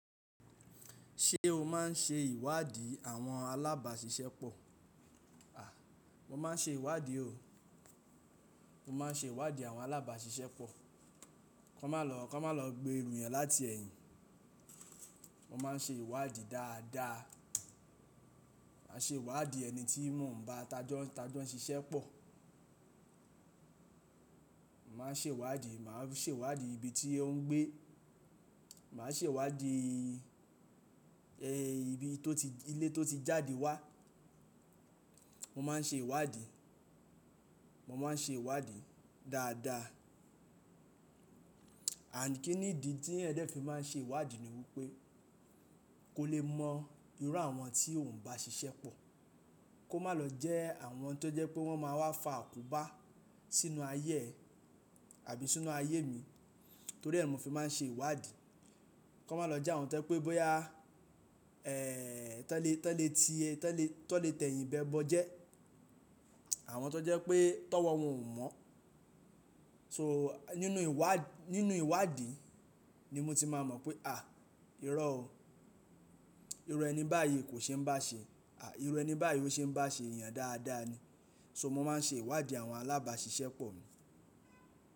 Ṣé o máà ń ṣe ìwádìí àwọn alábàáṣiṣẹ́ pọ̀? A, mo máa ń ṣe ìwádìí o. Mo máa ń ṣe ìwádìí àwọn alábàáṣiṣẹ́ pọ̀. Kọ́n má lọ, kọ́n má lọ gbé ru yan láti ẹ̀yìn. Mo máa ń ṣe ìwádìí dáadáa. Màá ṣe ìwádìí ẹni tí mò ń bá tajọ́ ṣiṣẹ́ pọ̀. Màá ṣe ìwádìí, màá ṣe ìwádìí ibi tí ó ń gbé. Màá ṣe ìwádìí, ẹ́ ibi tó ti, ilé tó ti jáde wá. Mo máa ń ṣe ìwádìí. Mo máa ń ṣe ìwádìí dáadáa. Àní kí ní ìdí tí eeyan de fi máa ń ṣe ìwádìí ni wípé kó lè mọ irú àwọn tí ò ń bá ṣiṣẹ́ pọ̀, kó má lọ jẹ́ àwọn tó jẹ́ pé wọ́n máa wá fa àkóbá sínú ayé ẹ àbí sínú ayé mi torí ẹ́ ni mo fi máa ń ṣe ìwádìí. Kọ́ n má lọ jẹ́ àwọn tó jẹ́ pé bóyá, ẹ́ tọ n lè, tọ n lè ti ẹ́, tọ n lè tẹ̀yìn bẹ bọ jẹ́. Àwọn tó jẹ́ pé tọ owọ́ wọn ò mọ̀. So nínú ìwádìí, nínú ìwádìí ni mo ti máa mọ̀ pé à iró o. Irú ẹni báyìí kò ṣe ń bá ṣe. À irú ẹni báyìí ó ṣe ń bá ṣe èèyàn dáadáa ni. So mo máa ń ṣe ìwádìí àwọn alábàáṣiṣẹ́ pọ̀ mi.